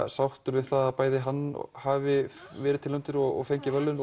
sáttur við það að bæði hann hafi verið tilnefndur og fengið verðlaunin